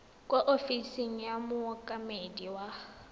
kwa ofising ya mookamedi wa